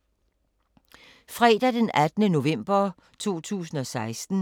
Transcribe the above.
Fredag d. 18. november 2016